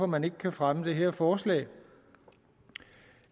man ikke kan fremme det her forslag